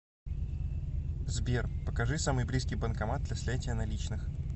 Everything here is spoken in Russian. сбер покажи самый близкий банкомат для снятия наличных